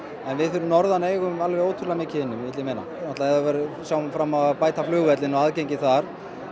við fyrir norðan eigum ótrúlega mikið inni vill ég meina ef við sjáum fram á að bæta flugvöllinn og aðgengi þar